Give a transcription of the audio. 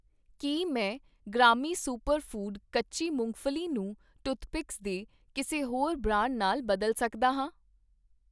ਕੀ ਮੈਂ ਗ੍ਰਾਮੀ super food ਕੱਚੀ ਮੂੰਗਫ਼ਲੀ ਨੂੰ ਟੂਥਪਿਕਸ ਦੇ ਕਿਸੇ ਹੋਰ ਬ੍ਰਾਂਡ ਨਾਲ ਬਦਲ ਸਕਦਾ ਹਾਂ?